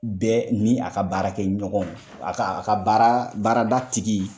Bɛɛ ni a ka baara kɛ ɲɔgɔnw a ka a ka baarada tigi